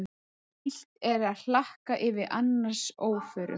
Illt er að hlakka yfir annars óförum.